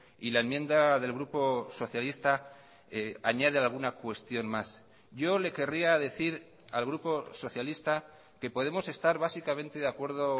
y la enmienda del grupo socialista añade alguna cuestión más yo le querría decir al grupo socialista que podemos estar básicamente de acuerdo